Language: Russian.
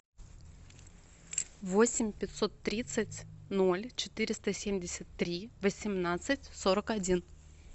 восемь пятьсот тридцать ноль четыреста семьдесят три восемнадцать сорок один